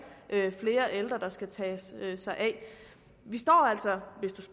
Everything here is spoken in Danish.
flere ældre man skal tage sig af vi står altså hvis